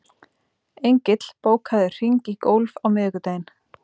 Engill, bókaðu hring í golf á miðvikudaginn.